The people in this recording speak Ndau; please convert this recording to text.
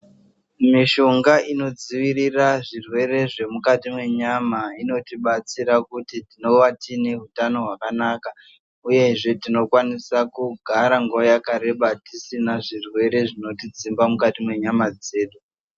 Mishonga inodzivirira zvemukati menyama inotidetsera kuti tinova tine utano hwakanaka uyezve tinokwanisa kugara nguva yakareba tisina zvirwere zvinotidzimba mukati menyama dzedu.